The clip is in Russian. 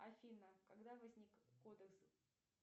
афина когда возник кодекс